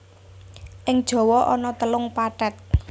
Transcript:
Ing Jawa ana telung pathet